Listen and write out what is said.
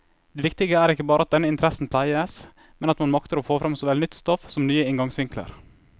Det viktige er ikke bare at denne interessen pleies, men at man makter få frem såvel nytt stoff som nye inngangsvinkler.